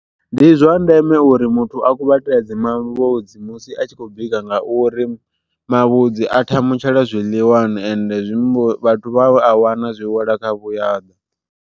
Ndi zwa ndeme uri muthu a kuvhatedze mavhudzi musi a tshi khou bika nga uri, mavhudzi a thamutshela zwiḽiwani ende vhathu vha a wana zwi wela kha vhuyaḓa.